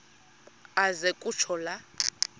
aze kutsho la